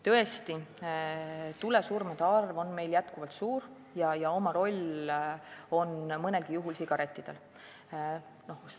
Tõesti, tulesurmade arv on meil endiselt suur ja oma roll selles on mõnelgi juhul olnud sigarettidel.